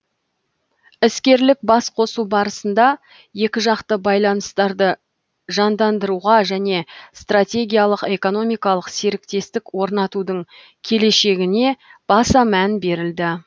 іскерлік басқосу барысында екіжақты байланыстарды жандандыруға және стратегиялық экономикалық серіктестік орнатудың келешегіне баса мән берілді